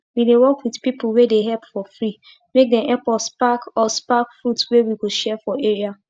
we dey work with pipu wey dey help for free make dem epp us pack us pack fruit wey we go share for area